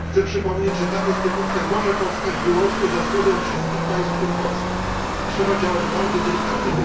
Chcę przypomnieć, że ta instytucja może powstać wyłącznie za zgodą wszystkich państw członkowskich i trzeba działać bardzo delikatnie.